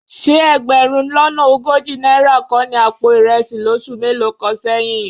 Ṣé ẹgbẹ̀rún lọ́nà ogójì náírà kọ́ ni àpò ìrẹsì lóṣù mélòó kan sẹ́yìn?